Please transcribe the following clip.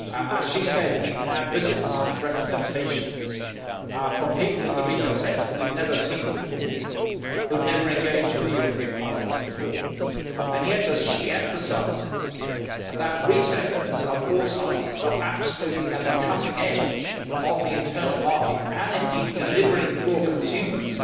As she said, we have had visits and representations from people in the retail sector whom we had never seen before and who had never engaged with the European Parliament before. And yet, as she emphasises, retailers of all sizes are absolutely at the cutting edge both of the internal market and in delivering for consumers.